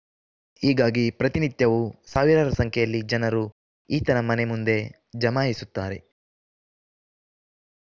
ಹೀಗಾಗಿ ಪ್ರತಿನಿತ್ಯವೂ ಸಾವಿರಾರು ಸಂಖ್ಯೆಯಲ್ಲಿ ಜನರು ಈತನ ಮನೆಯಮುಂದೆ ಜಮಾಯಿಸುತ್ತಾರೆ